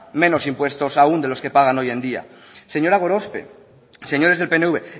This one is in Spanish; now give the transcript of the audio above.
menos impuestos aún de los que pagan hoy en día señora gorospe señores del pnv